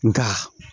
Nka